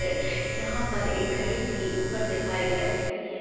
अ ] यहां पर एक घड़ी भी ऊपर दिखाई दे रही है।